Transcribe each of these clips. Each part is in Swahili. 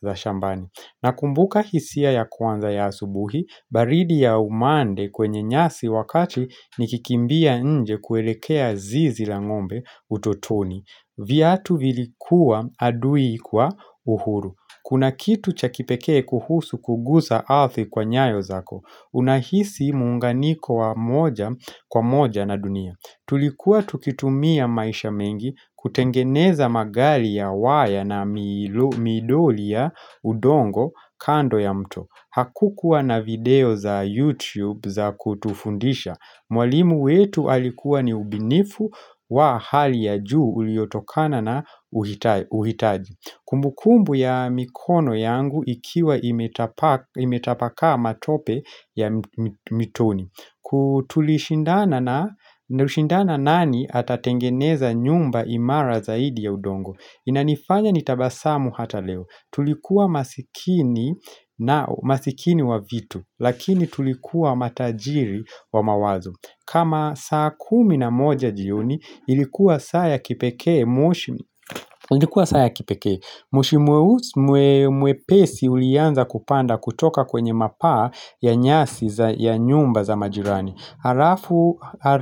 za shambani Nakumbuka hisia ya kwanza ya asubuhi, baridi ya umande kwenye nyasi wakati nikikimbia nje kuelekea zizi la ngombe utotoni. Viatu vilikuwa adui kwa uhuru. Kuna kitu cha kipekee kuhusu kuguza ardhi kwa nyayo zako. Unahisi muunganiko wa moja kwa moja na dunia. Tulikuwa tukitumia maisha mengi kutengeneza magari ya waya na midoli ya udongo kando ya mto Hakukuwa na video za YouTube za kutufundisha Mwalimu wetu alikuwa ni ubinifu wa hali ya juu uliotokana na uhitaji Kumbukumbu ya mikono yangu ikiwa imetapakaa matope ya mitoni tulishindana nani atatengeneza nyumba imara zaidi ya udongo Inanifanya nitabasamu hata leo Tulikuwa masikini wa vitu Lakini tulikuwa matajiri wa mawazo kama saa kumi na moja jioni Ilikuwa saa ya kipekee Ilikuwa saa ya kipekee moshi mwepesi ulianza kupanda kutoka kwenye mapaa ya nyasi ya nyumba za majirani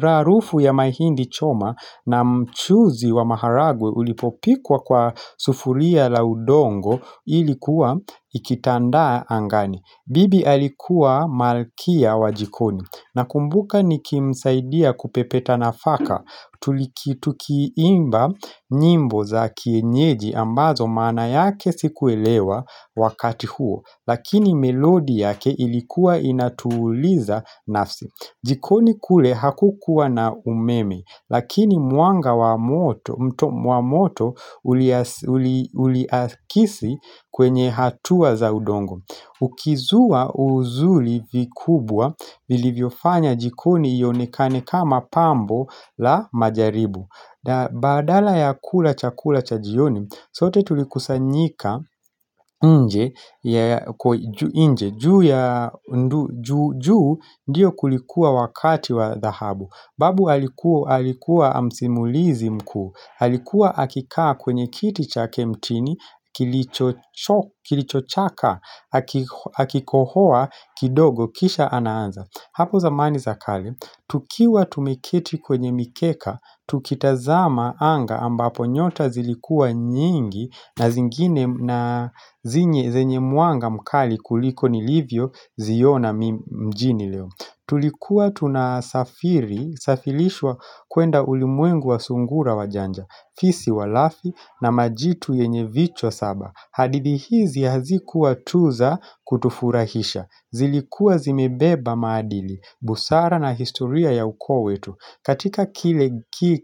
harufu ya mahindi choma na mchuzi wa maharagwe ulipopikwa kwa sufuria la udongo ilikuwa ikitandaa angani bibi alikuwa malkia wa jikoni nakumbuka nikimsaidia kupepeta nafaka tukiimba nyimbo za kienyeji ambazo maana yake sikuelewa wakati huo Lakini melodi yake ilikuwa inatuliza nafsi jikoni kule hakukuwa na umeme Lakini mwanga wa moto uliakisi kwenye hatua za udongo Ukizua uzuri vikubwa vilivyo fanya jikoni ionekane kama pambo la majaribu Badala ya kula chakula cha jioni sote tulikusanyika nje nje, juu ndio kulikuwa wakati wa dhahabu Babu alikuwa msimulizi mkuu Alikuwa akikaa kwenye kiti chake mtini, kilichochaka, akikohoa kidogo, kisha anaanza Hapo zamani za kale, tukiwa tumeketi kwenye mikeka, tukitazama anga ambapo nyota zilikuwa nyingi na zingine na zenye mwanga mkali kuliko nilivyo ziona mjini leo. Tulikuwa tunasafiri, safirishwa kuenda ulimwengu wa sungura wajanja, fisi walafi na majitu yenye vichwa saba. Hadithi hizi hazikuwa tu za kutufurahisha. Zilikuwa zimebeba maadili, busara na historia ya ukoo wetu. Katika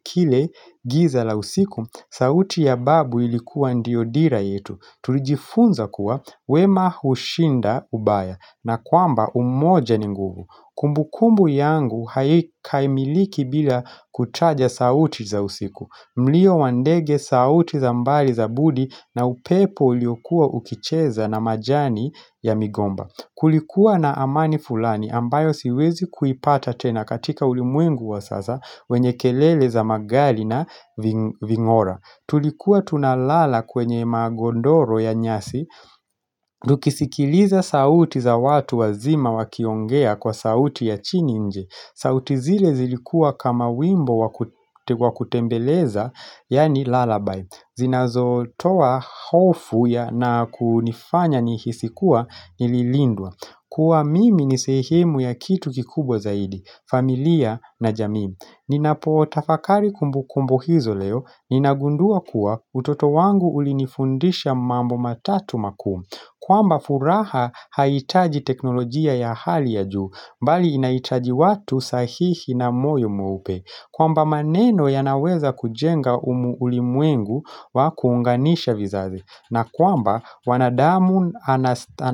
kile giza la usiku, sauti ya babu ilikuwa ndiyo dira yetu. Tulijifunza kuwa, wema hushinda ubaya na kwamba umoja ni nguvu. Kumbukumbu yangu haikamiliki bila kutaja sauti za usiku. Mlio wa ndege sauti za mbali za budi na upepo uliokuwa ukicheza na majani ya migomba. Kulikuwa na amani fulani ambayo siwezi kuipata tena katika ulimwengu wa sasa wenye kelele za magari na vingora. Tulikuwa tunalala kwenye magondoro ya nyasi. Tukisikiliza sauti za watu wazima wakiongea kwa sauti ya chini nje. Sauti zile zilikuwa kama wimbo wakutembeleza, yaani lalabai. Zinazo toa hofu na kunifanya nihisi kuwa nililindwa. Kuwa mimi ni sehemu ya kitu kikubwa zaidi, familia na jamii. Ninapo tafakari kumbukumbu hizo leo, ninagundua kuwa utoto wangu ulinifundisha mambo matatu makuu. Kwamba furaha haiitaji teknolojia ya hali ya juu, bali inahitaji watu sahihi na moyo mweupe. Kwamba maneno yanaweza kujenga ulimwengu wa kuunganisha vizazi. Na kwamba wanadamu anastana.